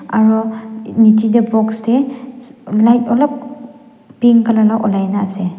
aro nichae tae box tae light olop pink colour la olai na ase.